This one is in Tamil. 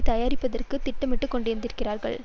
தயாரிப்பதற்கு திட்டமிட்டு கொண்டிருக்கிறார்கள்